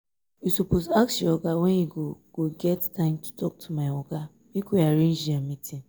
you suppose ask your oga when e go go get time to talk to my oga make we arrange dia meeting